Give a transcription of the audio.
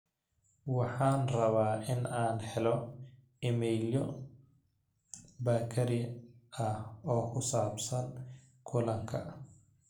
waxaan rabaa in aan ka helo iimaylo bakari ah oo ku saabsan kulanka